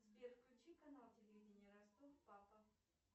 сбер включи канал телевидение ростов папа